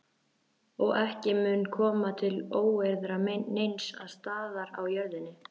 Og ekki mun koma til óeirða neins staðar á jörðinni.